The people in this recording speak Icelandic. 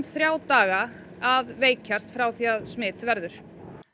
þrjá daga að veikjast frá því að smit verður